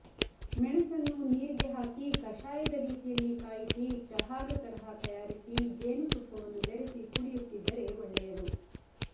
ಮೆಣಸನ್ನು ನೀರಿಗೆ ಹಾಕಿ ಕಾಷಯದ ರೀತಿಯಲ್ಲಿ ಕಾಯಿಸಿ ಚಹಾದ ತರಹ ತಯಾರಿಸಿ ಜೇನುತುಪ್ಪವನ್ನು ಬೆರೆಸಿ ಕುಡಿಯುತ್ತಿದ್ದರೆ ಒಳ್ಳೆಯದು